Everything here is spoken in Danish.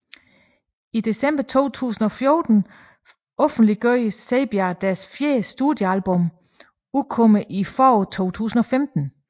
I december 2014 offentliggjorde Saybia at deres fjerde studiealbum udkommer i foråret 2015